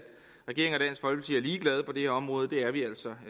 ligeglade på det her område det er vi altså